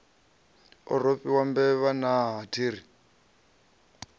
a rofhiwa mbevha naa athiri